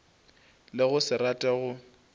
le go se rate go